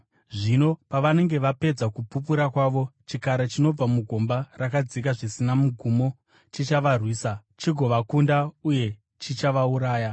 Zvino pavanenge vapedza kupupura kwavo, chikara chinobva mugomba rakadzika zvisina mugumo chichavarwisa, chigovakunda uye chichavauraya.